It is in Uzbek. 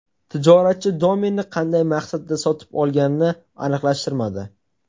Tijoratchi domenni qanday maqsadda sotib olganini aniqlashtirmadi.